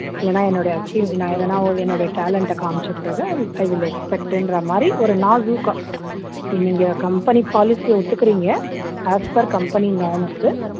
இல்லன்னா என்னுடைய achieve நான் எதனா என்னுடைய talent அ காமிச்ச பிறகு i will expect ன்ற மாதிரி ஒரு நாசூக்கா நீங்க company policy அ ஒத்துக்குறீங்க as per company norms